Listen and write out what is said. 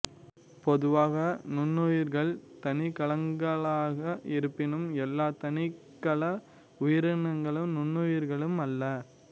பொதுவாக நுண்ணுயிரிகள் தனிக்கலங்களாக இருப்பினும் எல்லா தனிக்கல உயிரினங்களும் நுண்ணுயிரிகள் அல்ல